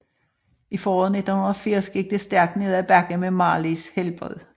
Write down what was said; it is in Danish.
I foråret 1980 gik det stærkt ned af bakke med Marleys helbred